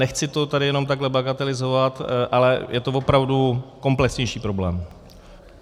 Nechci to tady jenom takhle bagatelizovat, ale je to opravdu komplexnější problém.